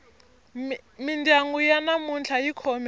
mindyangu ya namuntlha yi khome